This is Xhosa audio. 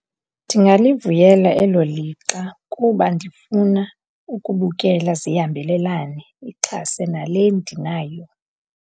Ndingalivuyela elo lixa kuba ndifuna ukubukela. Zihambelelane, ixhase nale ndinayo.